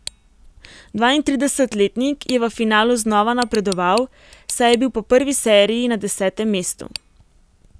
Dvaintridesetletnik je v finalu znova napredoval, saj je bil po prvi seriji na desetem mestu.